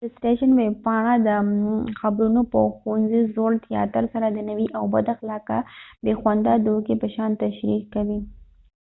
د سټیشن ویبپاڼه دا خپرونه د ښوونځې زوړ تیاتر سره د نوي او بد اخلاقه، بې خونده دوکې په شان تشریح کوي